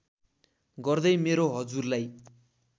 गर्दै मेरो हजुरलाई